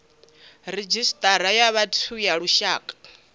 redzhisita ya vhathu ya lushaka